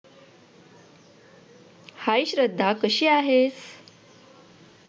hi Shraddha कशी आहेस?